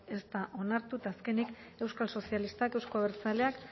ez da onartu eta azkenik euskal sozialistak euzko abertzaleak